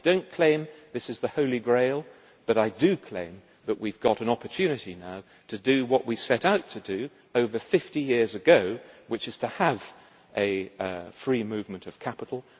I do not claim this is the Holy Grail, but I do claim that we have an opportunity now to do what we set out to do over 50 years ago, which is to achieve the free movement of capital.